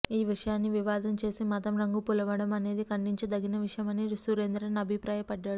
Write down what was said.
ఈ విషయాన్ని వివాదం చేసి మతం రంగు పులమడం అనేది ఖండించదగిన విషయం అని సురేంద్రన్ అభిప్రాయపడ్డారు